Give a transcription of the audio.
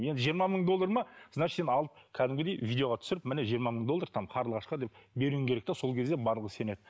енді жиырма мың доллар ма значить сен алып кәдімгідей видеоға түсіріп міне жиырма мың доллар там қарлығашқа деп беруің керек те сол кезде барлығы сенеді